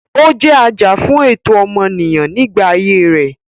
Ó jẹ́ ajàfún ẹ̀tọ́ ọmọnìyàn nígbà ayé rẹ̀.